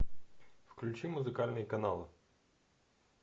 включи музыкальный канал